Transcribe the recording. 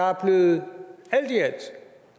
er blevet